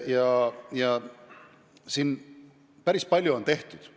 Ja päris palju on tehtud.